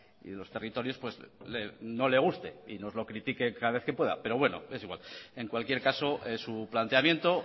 y los territorios no le guste y nos los critique cada vez que pueda pero bueno es igual en cualquier caso es su planteamiento